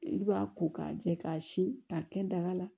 I b'a ko k'a jɛ k'a si ka kɛ daga la